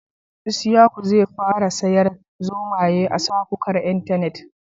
Isyaku ne zai fara sayar zomaye a safukan Intanet